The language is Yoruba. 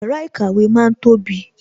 Yàrá ìkàwé ma ń tóbi